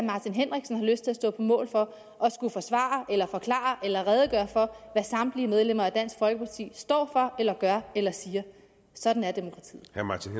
lyst til at stå på mål for at skulle forsvare eller forklare eller redegøre for hvad samtlige medlemmer af dansk folkeparti står for eller gør eller siger sådan er demokratiet